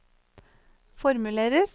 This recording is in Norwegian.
formuleres